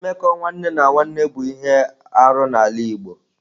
Mmekọ nwanne na nwanne bụ ihe arụ n'ala Igbo.